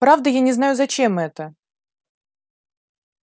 правда я не знаю зачем это